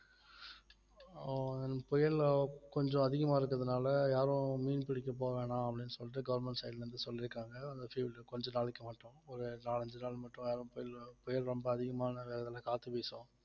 ஆஹ் புயல கொஞ்சம் அதிகமா இருக்குறதுனால யாரும் மீன் பிடிக்க போக வேணாம் அப்டின்னு சொல்லிட்டு government side ல இருந்து சொல்லிருக்காங்க அந்த கொஞ்ச நாளைக்கு மட்டும் ஒரு நாலு அஞ்சு நாள் மட்டும் யாரும் புயல் புயல் ரொம்ப அதிகமான நேரத்துல காத்து வீசும்